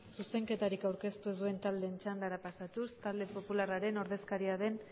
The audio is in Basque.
zuzenketari aurkeztu zuen talde txanda pasatu talde popularraren ordezkaria den